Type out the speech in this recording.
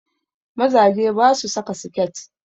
Mazaje basu saka siket